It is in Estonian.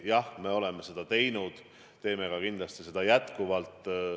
Jah, me oleme seda teinud ja teeme kindlasti ka edaspidi.